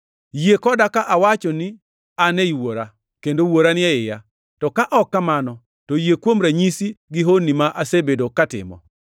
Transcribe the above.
Yie koda ka awacho ni an ei Wuora kendo Wuora ni e iya; to ka ok kamano, to yie kuom ranyisi gi honni ma asebedo ka atimo.